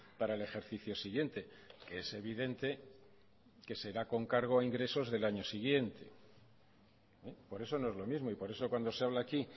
para el ejercicio siguiente que es evidente que será con cargo a ingresos del año siguiente por eso no es lo mismo y por eso cuando se habla aquí